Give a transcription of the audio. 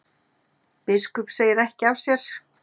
Biskup segir ekki af sér